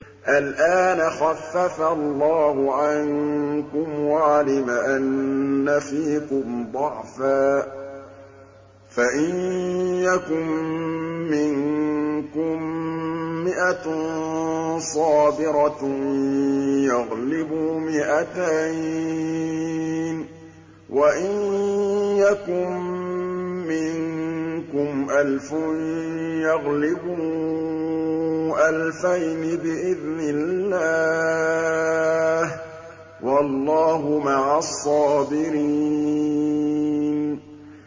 الْآنَ خَفَّفَ اللَّهُ عَنكُمْ وَعَلِمَ أَنَّ فِيكُمْ ضَعْفًا ۚ فَإِن يَكُن مِّنكُم مِّائَةٌ صَابِرَةٌ يَغْلِبُوا مِائَتَيْنِ ۚ وَإِن يَكُن مِّنكُمْ أَلْفٌ يَغْلِبُوا أَلْفَيْنِ بِإِذْنِ اللَّهِ ۗ وَاللَّهُ مَعَ الصَّابِرِينَ